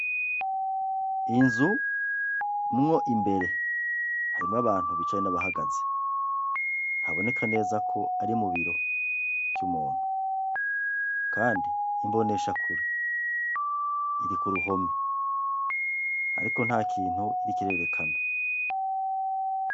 Inzu mwo imbere harimwo abantu bicaye nabahagaze, haboneka neza ko ari mubiro vy'umuntu, kandi imboneshakure iri kuruhome ariko ntakintu iriko irerekana.